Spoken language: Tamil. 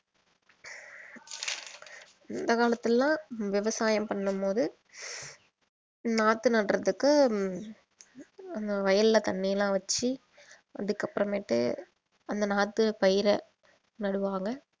அந்த காலத்திலலாம் விவசாயம் பண்ணும் போது நாத்து நடுறதுக்கு அஹ் வயல்ல தண்ணியெல்லாம் வெச்சி அதுக்கப்புறமேட்டு அந்த நாத்து பயிர நடுவாங்க